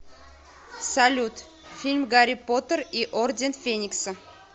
салют фильм гарри поттер и орден феникса